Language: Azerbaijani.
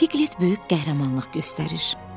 Piglet böyük qəhrəmanlıq göstərir.